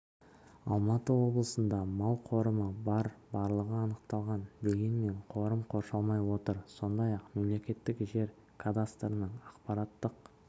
алматы облысында мал қорымы бар барлығы анықталған дегенмен қорым қоршалмай отыр сондай-ақ мемлекеттік жер кадастрының ақпараттық